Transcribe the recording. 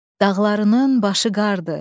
Dağlarının başı qardır.